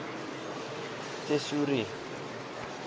tesourie